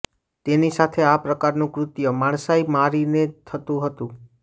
તેની સાથે આ પ્રકારનું કૃત્ય માણસાઈ મારીને થતું હતું